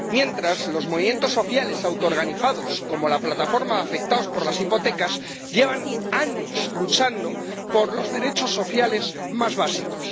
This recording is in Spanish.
Mientras, los movimientos sociales autoorganizados, como la Plataforma de Afectados por la Hipoteca, llevan años luchando por los derechos sociales más básicos.